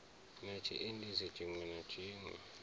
na tshiendisi tshiṋwe na tshiṋwe